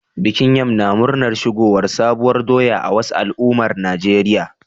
Bikin yam na murnar shigowar sabuwar doya a wasu al'ummar Najeriya